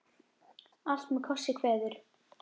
Allt með kossi kveður.